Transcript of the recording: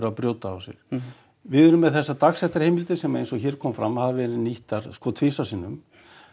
að brjóta af sér við erum með þessar dagsektarheimildir sem eins og hér kom fram hafa verið nýttar sko tvisvar sinnum